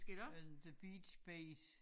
Øh The Beat's Bay's